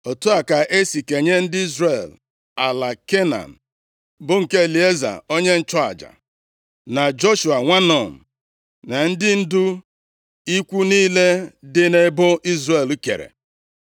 Otu a ka esi kenye ndị Izrel ala Kenan, bụ nke Elieza onye nchụaja, + 14:1 Elieza bụ nwa Erọn. \+xt Ọpụ 6:23; 28:1\+xt* na Joshua, nwa Nun, na ndị ndu ikwu niile dị nʼebo Izrel kere.